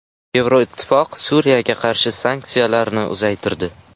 Yevroittifoq Suriyaga qarshi sanksiyalarni uzaytirdi.